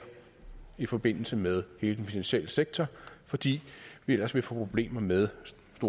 i forbindelse med hele den finansielle sektor fordi vi ellers ville få problemer med